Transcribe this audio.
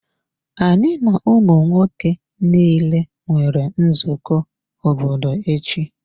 Anyị na ụmụ nwoke niile nwere nzukọ obodo echi.